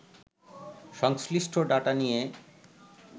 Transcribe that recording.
সংশ্লিষ্ট ডাটা নিয়ে